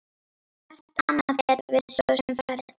Hvert annað gætum við svo sem farið?